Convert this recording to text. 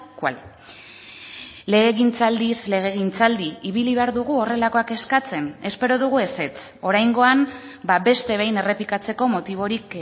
cual legegintzaldiz legegintzaldi ibili behar dugu horrelakoak eskatzen espero dugu ezetz oraingoan beste behin errepikatzeko motiborik